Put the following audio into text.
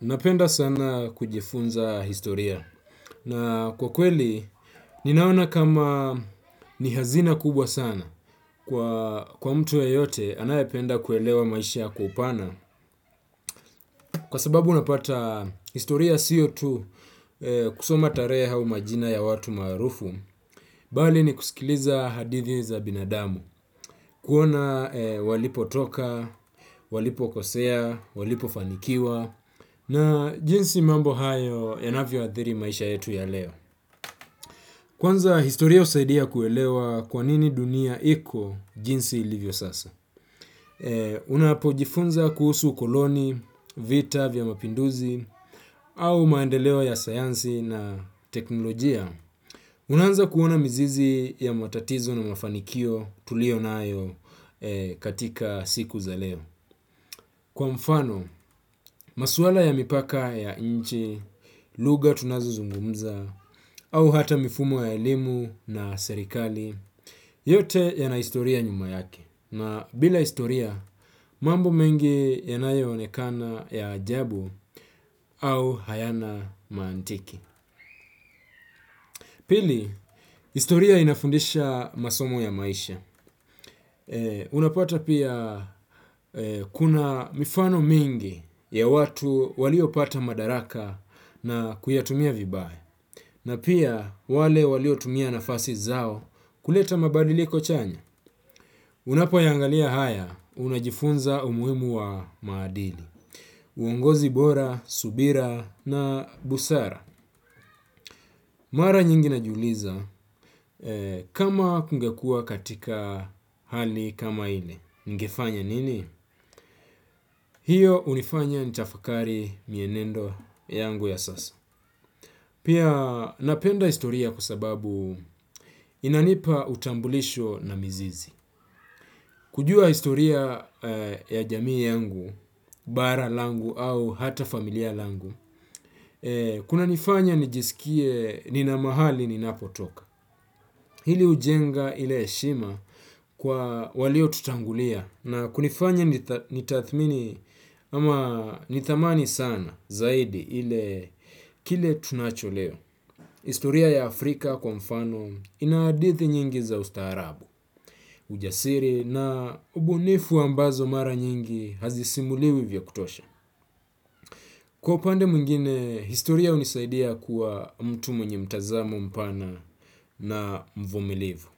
Napenda sana kujifunza historia na kwa kweli ninaona kama ni hazina kubwa sana kwa mtu yeyote anayapenda kuelewa maisha kwa upana kwa sababu unapata historia sio tu kusoma tarehe au majina ya watu maarufu bali ni kusikiliza hadithi za binadamu kuona walipo toka, walipo kosea, walipo fanikiwa na jinsi mambo hayo yanavyo adhiri maisha yetu ya leo. Kwanza historia husaidia kuelewa kwanini dunia iko jinsi ilivyo sasa. Unapojifunza kuhusu ukoloni, vita vya mapinduzi au maendeleo ya sayansi na teknolojia unaanza kuona mzizi ya matatizo na mafanikio tulio naayo katika siku za leo. Kwa mfano, maswala ya mipaka ya nchi, lugha tunazozungumza, au hata mifumo ya elimu na serikali, yote yana historia nyuma yake. Na bila historia, mambo mengi yanayo onekana ya ajabu au hayana maantiki. Pili, historia inafundisha masomo ya maisha. Unapata pia kuna mifano mingi ya watu walio pata madaraka na kuyatumia vibaya. Na pia wale walio tumia nafasi zao kuleta mabadiliko chanya. Unapoyangalia haya, unajifunza umuhimu wa maadili. Uongozi bora, subira na busara. Mara nyingi najiuliza kama kungekua katika hali kama ile. Ningefanya nini? Hio hunifanya nitafakari mienendo yangu ya sasa. Pia napenda historia kwa sababu inanipa utambulisho na mizizi. Kujua historia ya jamii yangu, bara langu au hata familia langu, kuna nifanya nijisikie nina mahali ninapotoka. Hili hujenga ile heshima kwa waliotutangulia na kunifanya nitathmini ama nithamani sana zaidi kile tunacho leo. Historia ya Afrika kwa mfano ina hadithi nyingi za ustaarabu, ujasiri na ubunifu ambazo mara nyingi hazisimuliwi vya kutosha. Kwa upande mwngine, historia hunisaidia kuwa mtu mwenye mtazamo mpana na mvumilivu.